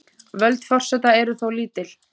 Völd forseta eru þó lítil.